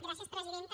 gràcies presidenta